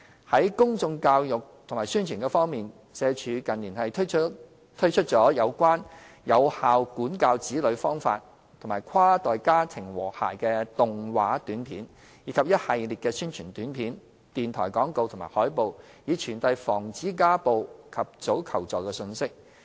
在公眾教育及宣傳方面，社署近年推出了有關有效管教子女方法及跨代家庭和諧的動畫短片，以及一系列宣傳短片、電台廣播及海報，以傳遞防止家暴和及早求助的信息。